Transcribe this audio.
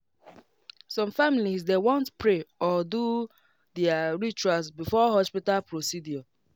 some families dey want pray or do their rituals before hospital procedure